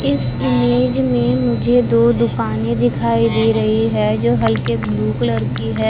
इस इमेज में मुझे दो दुकाने दिखाई दे रही है जो हलके ब्लू कलर की है।